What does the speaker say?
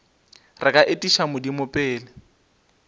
re ka etiša modimo pele